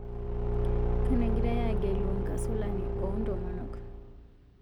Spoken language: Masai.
Kanu egirai aagelu nkasolani oo ntomonok